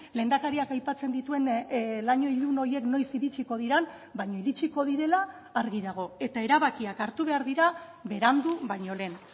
lehendakariak aipatzen dituen laino ilun horiek noiz iritsiko diren baina iritsiko direla argi dago eta erabakiak hartu behar dira berandu baino lehen